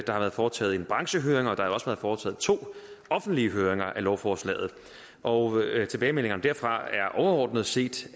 har været foretaget en branchehøring og der har også været foretaget to offentlige høringer af lovforslaget og tilbagemeldingerne derfra er overordnet set